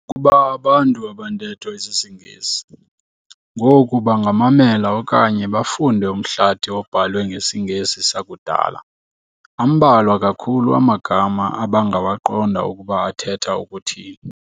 Ukuba abantu abantetho isisiNgesi ngoku bangamamela okanye bafunde umhlathi obhalwe ngesiNgesi sakudala, ambalwa kakhulu amagama abangawaqonda ukuba athetha ukuthini.